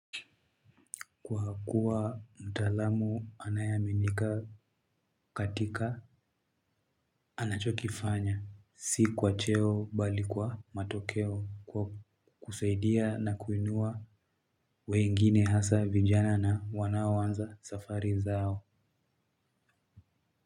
Kwa kuwa mtaalamu anayeaminika katika anachokifanya si kwa cheo bali kwa matokeo kwa kusaidia na kuinua wengine hasa vijana na wanaoanza safari zao.